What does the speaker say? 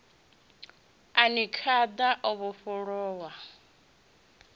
a ni khada o vhofholowa